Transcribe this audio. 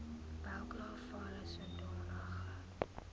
welke geval sodanige